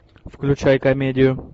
включай комедию